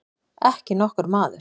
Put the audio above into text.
Ekki nokkur maður.